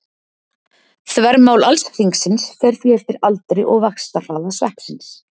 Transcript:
Þvermál alls hringsins fer því eftir aldri og vaxtarhraða sveppsins.